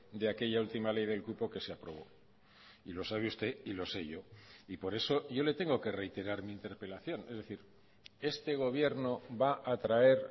de aquella ultima ley del cupo que se aprobó y lo sabe usted y lo sé yo y por eso yo le tengo que reiterar mi interpelación es decir este gobierno va a traer